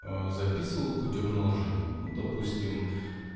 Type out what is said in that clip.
а записывал путём наложения ну допустим